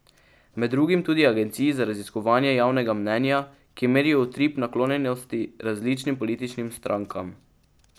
Med drugim tudi agencij za raziskovanje javnega mnenja, ki merijo utrip naklonjenosti različnim političnim strankam.